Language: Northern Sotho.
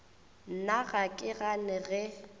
nna ga ke gane ge